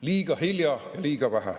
Liiga hilja, liiga vähe.